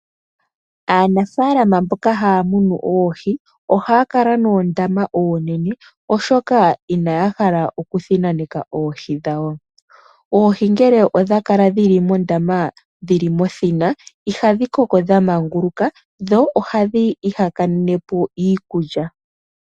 Aanafaalama mboka haya munu oohi ohaya kala noondama oonene oshoka inaya hala okuthinaneka oohi dhawo. Oohi ngele odha kala dhili mondama dhili mothina ihadhi koko dhamanguluka dho ohadhi ihakanene po iikulya.